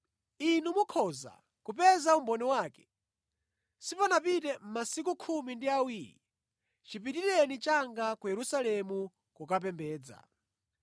Inu mukhoza kupeza umboni wake. Sipanapite masiku khumi ndi awiri chipitireni changa ku Yerusalemu kukapembedza.